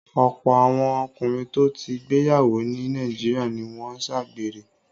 Ọ̀pọ̀ àwọn ọkùnrin tó ti gbéyàwó ní Nàìjíríà ni wọ́n ń ṣàgbèrè.